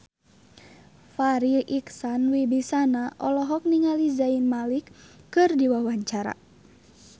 Farri Icksan Wibisana olohok ningali Zayn Malik keur diwawancara